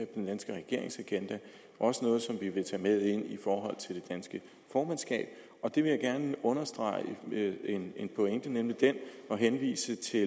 den danske regerings agenda og noget som vi også vil tage med ind i forhold til det danske formandskab jeg vil gerne understrege en pointe nemlig den at henvise til